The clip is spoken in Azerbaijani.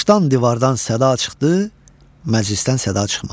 Daşdan, divardan səda çıxdı, məclisdən səda çıxmadı.